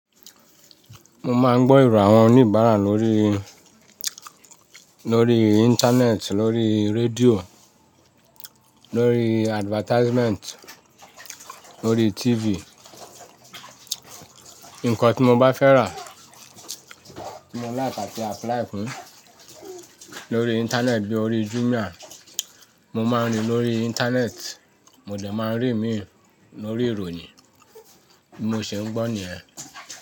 Mo máa ń gbọ́ ẹ̀rọ àwọn oníbàárà lórí, lórí Internet, lórí rédíò, lórí advertisement, lórí TV. Nǹkan tí mo bá fẹ́ rà, tí mo like àti apply fún lórí Internet bíi orí Jumia, mo máa ń rí lórí Internet, mo dẹ̀ máa ń rí ìmíì lórí ìròyìn. Bi mo se ń gbọ́ nìyẹn.